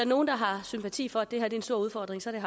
nogen der har sympati for at det her er en stor udfordring så er